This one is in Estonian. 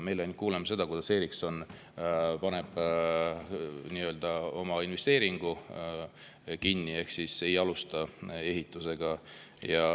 Me kuuleme ainult seda, kuidas Ericsson oma investeeringu ehk ei alusta ehitust.